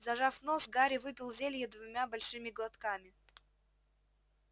зажав нос гарри выпил зелье двумя большими глотками